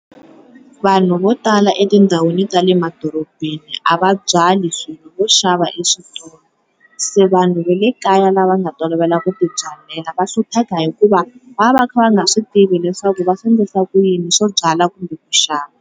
Vanhu vo tala etindhawini ta le madorobeni a va byali swilo vo xava eswitolo se vanhu va le kaya lava nga tolovela ku ti byalela va hlupheka hikuva va va va kha va nga swi tivi leswaku va swi endlisa ku yini swo byala kumbe ku xava.